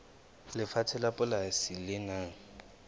lefatshe la polasi le nang